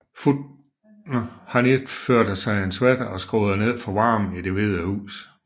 Han iførte sig en sweater og skruede ned for varmen i Det Hvide Hus